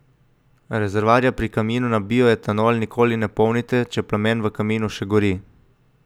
Rezervoarja pri kaminu na bioetanol nikoli ne polnite, če plamen v kaminu še gori.